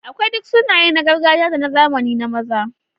Akwai duk sunaye na gargajiya da na zamani na maza.